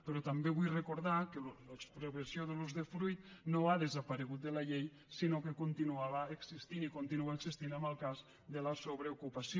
però també vull recordar que l’expropiació de l’usdefruit no ha desaparegut de la llei sinó que continuava existint i continua existint en el cas de la sobreocupació